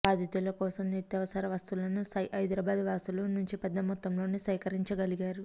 బాధితుల కోసం నిత్యావసర వస్తువులను హైదరాబాద్ వాసుల నుంచి పెద్ద మొత్తంలోనే సేకరించగలిగారు